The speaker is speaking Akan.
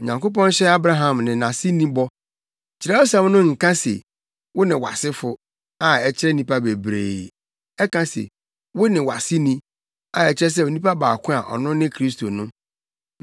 Onyankopɔn hyɛɛ Abraham ne nʼaseni bɔ. Kyerɛwsɛm no nka se, “Wo ne wʼasefo” a ɛkyerɛ nnipa bebree. Ɛka se, “Wo ne wʼaseni” a ɛkyerɛ sɛ onipa baako a ɔno ne Kristo no.